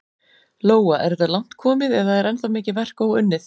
Lóa: Er þetta langt komið eða er ennþá mikið verk óunnið?